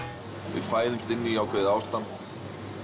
við fæðumst inn í ákveðið ástand